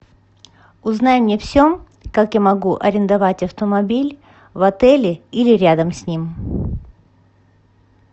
узнай мне все как я могу арендовать автомобиль в отеле или рядом с ним